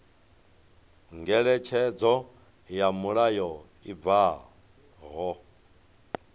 ngeletshedzo ya mulayo i bvaho